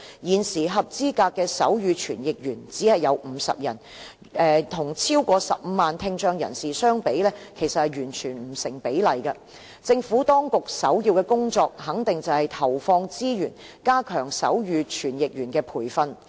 現時合資格的手語傳譯員只有50人，與超過15萬的聽障人士相比，其實完全不成比例，政府當局首要的工作肯定是投放資源加強手語傳譯員的培訓。